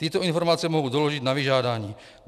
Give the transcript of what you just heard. Tyto informace mohu doložit na vyžádání.